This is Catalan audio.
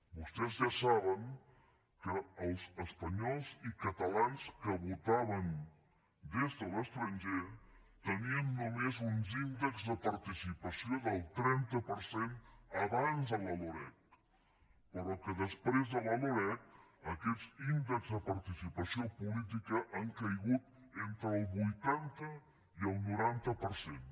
vostès ja saben que els espanyols i catalans que votaven des de l’estranger tenien només uns índexs de participació del trenta per cent abans de la loreg però que després de la loreg aquests índexs de participació política han caigut entre el vuitanta i el noranta per cent